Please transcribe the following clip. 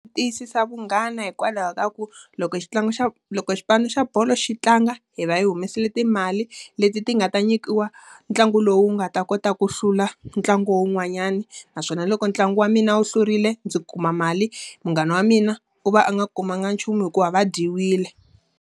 Tiyisisa vunghana hikwalaho ka ku, loko xa loko xipano xa bolo xi tlanga, hi va hi humesile timali leti ti nga ta nyikiwa ntlangu lowu nga ta kota ku hlula ntlangu wun'wanyani. Naswona loko ntlangu wa mina wu hlurile ndzi kuma mali, munghana wa mina u va u nga kumanga nchumu hikuva va dyiwile.